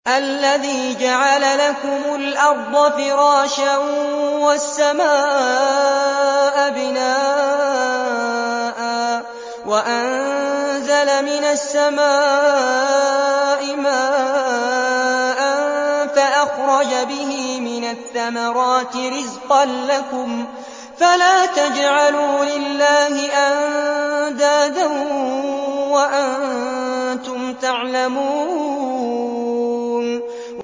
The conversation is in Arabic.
الَّذِي جَعَلَ لَكُمُ الْأَرْضَ فِرَاشًا وَالسَّمَاءَ بِنَاءً وَأَنزَلَ مِنَ السَّمَاءِ مَاءً فَأَخْرَجَ بِهِ مِنَ الثَّمَرَاتِ رِزْقًا لَّكُمْ ۖ فَلَا تَجْعَلُوا لِلَّهِ أَندَادًا وَأَنتُمْ تَعْلَمُونَ